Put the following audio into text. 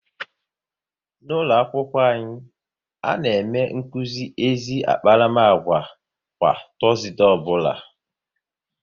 N'ụlọakwụkwọ anyị, a na-eme nkuzi ezi akparamagwa kwa Tọọzde ọbụla